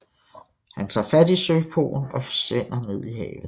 Han tager fat i søkoen og forsvinder ned i havet